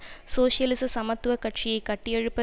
சோசியலிச சமத்துவ கட்சியை கட்டியெழுப்ப